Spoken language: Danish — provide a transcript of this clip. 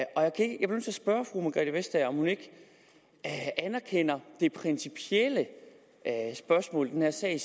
spørge fru margrethe vestager om hun ikke anerkender det principielle spørgsmål i den her sag